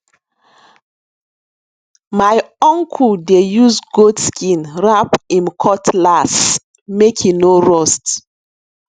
my uncle dey use goat skin wrap em cutlass make e no rust